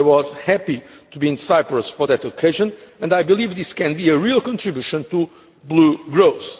I was happy to be in Cyprus for that occasion and I believe this can be a real contribution to boost growth.